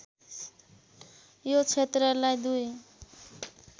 यो क्षेत्रलाई दुई